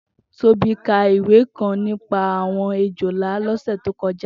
Tobi kà ìwé kãn nipà awọn éjólà lọsẹ tókọjà